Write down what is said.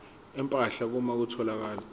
empahla uma kutholakala